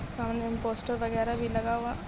सामने में पोस्टर वगेरा भी लगा हुआ --